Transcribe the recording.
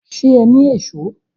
Ṣé o ni Èṣó?